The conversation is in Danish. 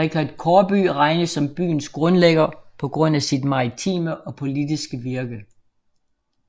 Rikard Kaarbø regnes som byens grundlægger på grund af sit maritime og politiske virke